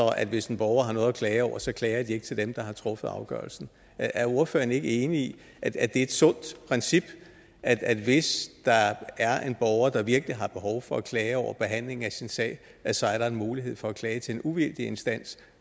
at hvis en borger har noget at klage over så klager man ikke til dem der har truffet afgørelsen er ordføreren ikke enig i at det er et sundt princip at hvis der er en borger der virkelig har behov for at klage over behandlingen af sin sag så er der en mulighed for at klage til en uvildig instans